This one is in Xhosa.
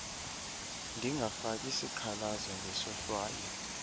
ndingafaki sikhalazo ngesohlwayo